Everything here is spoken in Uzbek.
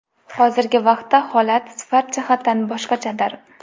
Hozirgi vaqtda holat sifat jihatdan boshqachadir.